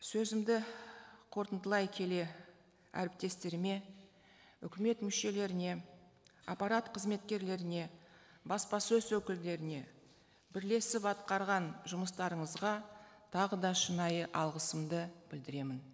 сөзімді қорытындылай келе әріптестеріме үкімет мүшелеріне аппарат қызметкерлеріне баспасөз өкілдеріне бірлесіп атқарған жұмыстарыңызға тағы да шынайы алғысымды білдіремін